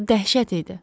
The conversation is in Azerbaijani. Bu dəhşət idi.